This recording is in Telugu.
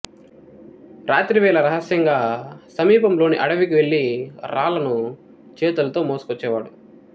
రాత్రివేళ రహస్యంగా సమీపంలోని అడవికి వెళ్లి రాళ్లను చేతులతో మోసుకొచ్చేవాడు